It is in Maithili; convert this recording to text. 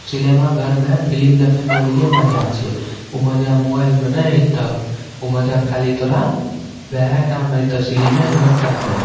सिनेमा घर में फिल्म देखे में अलगे मजा छै उ मजा मोबाइल में नेए ऐता उ मजा खली तोरा वहे टा में एता सिनेमे घर टा में।